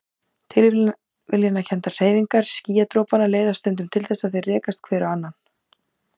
Tilviljanakenndar hreyfingar skýjadropanna leiða stundum til þess að þeir rekast hver á annan.